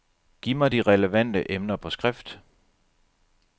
Giv mig de relevante emner på skrift.